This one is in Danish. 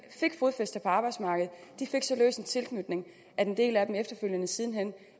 fik fodfæste på arbejdsmarkedet fik så løs en tilknytning at en del af dem siden hen